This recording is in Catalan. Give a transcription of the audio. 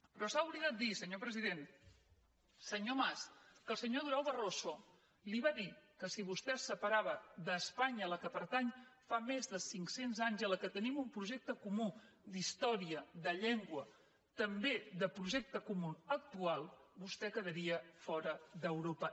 però s’ha oblidat dir senyor president senyor mas que el senyor durão barroso li va dir que si vostè es separava d’espanya a què pertany fa més de cinc cents anys i amb què tenim un projecte comú d’història de llengua també de projecte comú actual vostè quedaria fora d’europa